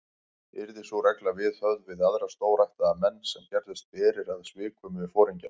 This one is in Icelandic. Yrði sú regla viðhöfð við aðra stórættaða menn, sem gerðust berir að svikum við foringjann.